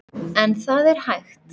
En það er hægt.